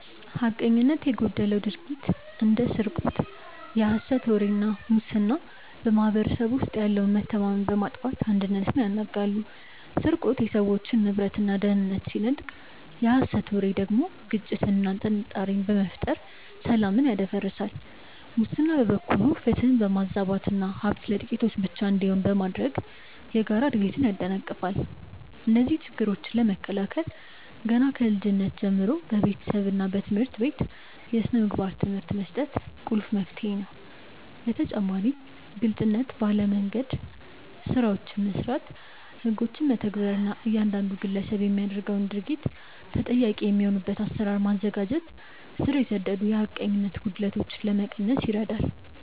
ሐቀኝነት የጎደለው ድርጊት እንደ ስርቆት፣ የሐሰት ወሬ እና ሙስና በማኅበረሰቡ ውስጥ ያለውን መተማመን በማጥፋት አንድነትን ያናጋሉ። ስርቆት የሰዎችን ንብረትና ደህንነት ሲነጥቅ፣ የሐሰት ወሬ ደግሞ ግጭትንና ጥርጣሬን በመፍጠር ሰላምን ያደፈርሳል። ሙስና በበኩሉ ፍትህን በማዛባትና ሀብት ለጥቂቶች ብቻ እንዲሆን በማድረግ የጋራ እድገትን ያደናቅፋል። እነዚህን ችግሮች ለመከላከል ገና ከልጅነት ጀምሮ በቤተሰብና በትምህርት ቤት የሥነ ምግባር ትምህርት መስጠት ቁልፍ መፍትሄ ነው። በተጨማሪም ግልጽነት ባለ መንደምገድ ስራዎችን መስራት፣ ህጎችን መተግበር እና እያንዳንዱ ግለሰብ ለሚያደርገው ድርጊት ተጠያቂ የሚሆንበትን አሰራር ማዘጋጀት ስር የሰደዱ የሐቀኝነት ጉድለቶችን ለመቀነስ ይረዳል።